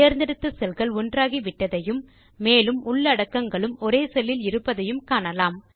தேர்ந்தெடுத்த செல்கள் ஒன்றாகிவிட்டதையும் மேலும் உள்ளடக்கங்களும் ஒரே செல்லில் இருப்பதையும் காணலாம்